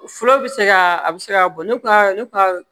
Fura bɛ se ka a bɛ se ka bɔ ne ka ne ka